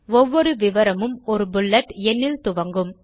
ஒவ்வொரு விவரமும் ஒரு புல்லட் எண்ணில் துவங்கும்